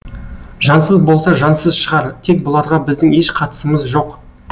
жансыз болса жансыз шығар тек бұларға біздің еш қатысымыз жоқ